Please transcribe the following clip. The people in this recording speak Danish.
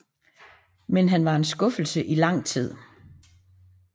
Men han var en skuffelse i lang tid